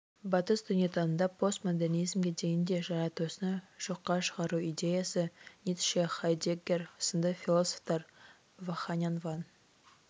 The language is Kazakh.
батыс дүниетанымында постмодернизмге дейін де жаратушыны жоққа шығару идеясы ницше хайдеггер сынды философтар ваханян ван